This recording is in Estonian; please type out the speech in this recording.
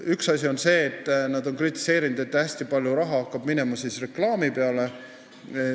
Üks asi, mida nad on kritiseerinud, on see, et hästi palju raha hakkab minema reklaami peale.